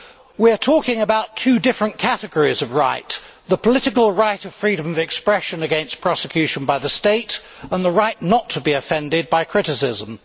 We are talking about two different categories of right the political right of freedom of expression against prosecution by the state and the right not to be offended by criticism.